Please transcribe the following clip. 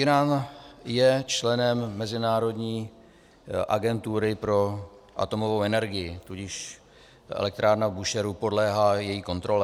Írán je členem Mezinárodní agentury pro atomovou energii, tudíž elektrárna v Búšehru podléhá její kontrole.